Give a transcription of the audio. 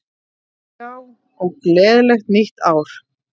Já, og gleðilegt nýtt ár!